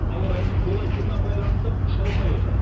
ауа райының қолайсыздығына байланысты ұша алмай отыр